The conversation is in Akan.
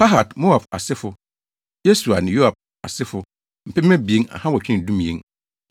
Pahat-Moab asefo (Yesua ne Yoab asefo) 2 2,812 1